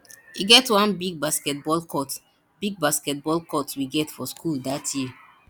e get one big basketball court big basketball court we get for school dat year